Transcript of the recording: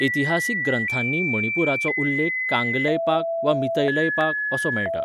इतिहासीक ग्रंथांनी मणिपुराचो उल्लेख कांगलैपाक वा मीतैलैपाक असो मेळटा.